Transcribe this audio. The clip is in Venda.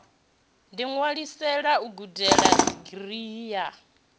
ḓiṅwalisela u gudela digirii ya